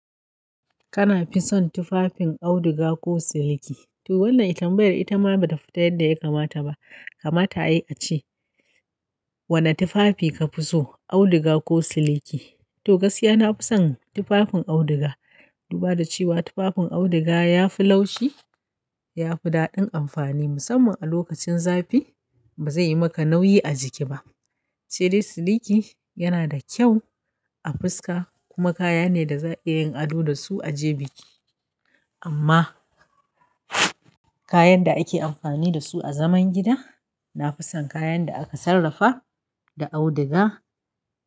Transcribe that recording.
Kana fi son tufafin auduga ko siliki? To wannan itambiyar ita ma ba ta fita yadda ya kamata ba. Kamata yayi a ce, wane tufafi ka fi so auduga ko siliki? To gaskiya na fi son tufafin auduga. Duba da cewa tufafin auduga yafi laushi, yafi daɗin amfani musamman a lokacin zafi. Ba zai yi maka nauyi a jiki ba. Sadai siliki yana da kyau a fuska kuma kaya ne da za ka iya yin ado da su a je biki. Amma kayan da ake amfani da su a zaman gida, na fi son kayan da aka sarrafa da auduga.